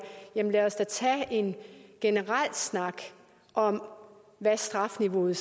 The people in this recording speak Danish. lad os da så tage en generel snak om hvad strafniveauet